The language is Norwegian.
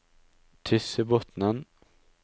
Tyssebotnen